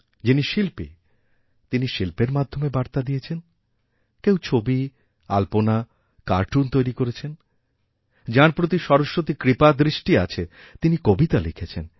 যিনি শিল্পী তিনি শিল্পের মাধ্যমে বার্তাদিয়েছেন কেউ ছবি আলপনা কার্টুন তৈরি করেছেন যাঁর প্রতি সরস্বতীর কৃপাদৃষ্টিআছে তিনি কবিতা লিখেছেন